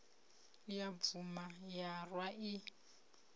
ya bvuma ya rwa i